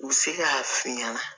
U bɛ se k'a f'i ɲɛna